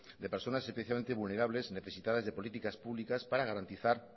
de personas especialmente vulnerables necesitadas de políticas públicas para garantizar